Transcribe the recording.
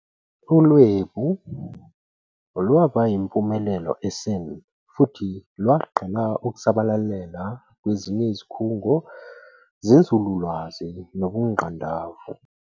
ULwebu lwaba impumelelo e-CERN, futhi lwaqala ukusabalalela kwezinye izikhungo zenzululwazi nobungqandavu.